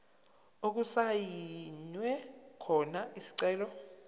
okusayinwe khona isicelo